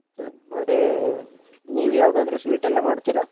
ಮತ್ತೆ ನೀವ್ ಯಾವ್ದಾದ್ರೂ sweet ಎಲ್ಲಾ ಮಾಡ್ತೀರಾ?